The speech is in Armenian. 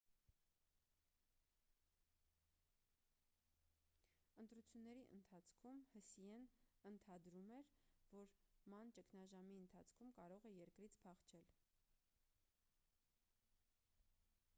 ընտրությունների ընթացքում հսիեն ընթադրում էր որ ման ճգնաժամի ընթացքում կարող է երկրից փախչել